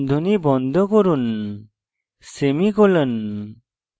বন্ধনী বন্ধ করুন semicolon